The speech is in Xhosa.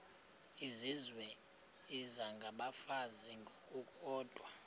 izizwe isengabafazi ngokukodwa